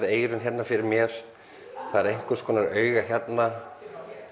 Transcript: eyrun fyrir mér það er einhvers konar auga hérna